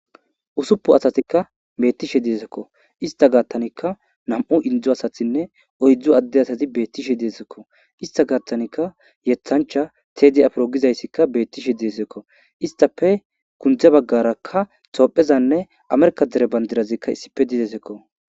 usuppu asatikka betishe dizaysakko ista gaattanikka nam7u indzu asathinne oydzdzu adde asati beettishe deesekko ista gaattanikka yethancha teedi afiro gizayssikka beettishe deesekko istafe kundze baggarakka toophezanne amerkadere bandirazikka issipe didesekko